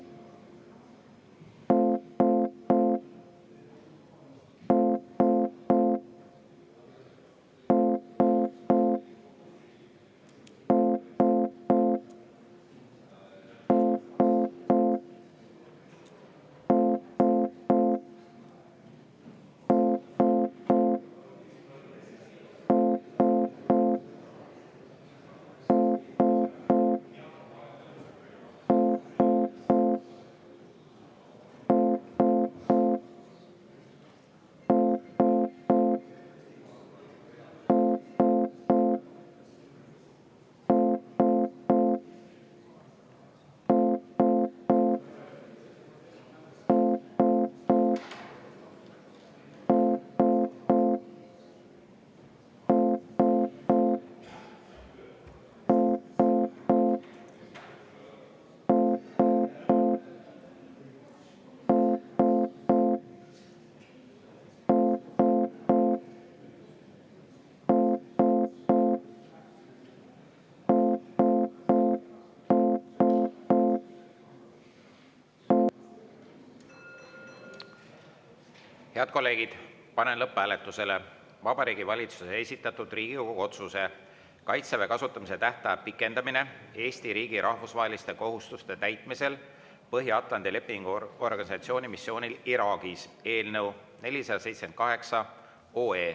Head kolleegid, panen lõpphääletusele Vabariigi Valitsuse esitatud Riigikogu otsuse "Kaitseväe kasutamise tähtaja pikendamine Eesti riigi rahvusvaheliste kohustuste täitmisel Põhja-Atlandi Lepingu Organisatsiooni missioonil Iraagis" eelnõu 478.